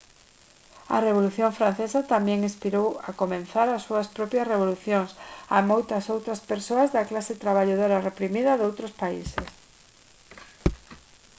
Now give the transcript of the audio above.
a revolución francesa tamén inspirou a comezar as súas propias revolucións a moitas outras persoas da clase traballadora reprimida doutros países